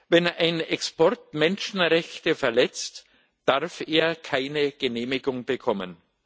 Wenn ein Export Menschenrechte verletzt, darf er keine Genehmigung bekommen.